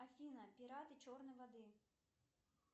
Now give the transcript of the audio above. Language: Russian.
афина пираты черной воды